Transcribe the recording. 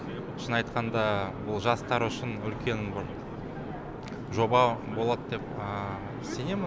шынын айтқанда бұл жастар үшін үлкен бір жоба болады деп сенемін